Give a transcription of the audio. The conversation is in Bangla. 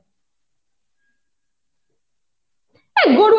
এই গরু